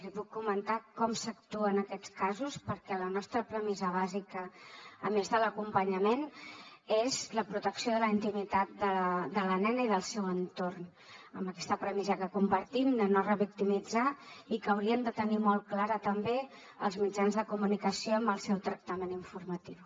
li puc comentar com s’actua en aquests casos perquè la nostra premissa bàsica a més de l’acompanyament és la protecció de la intimitat de la nena i del seu entorn amb aquesta premissa que compartim de no revictimitzar i que haurien de tenir molt clara també els mitjans de comunicació en el seu tractament informatiu